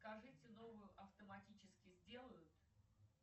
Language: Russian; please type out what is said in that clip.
скажите новую автоматически сделают